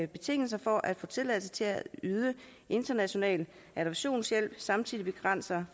betingelser for at få tilladelse til at yde international adoptionshjælp samtidig begrænser